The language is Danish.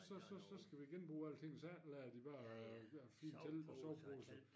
Så så så skal vi genbruge alting så efterlader de bare de dér fine telte og soveposer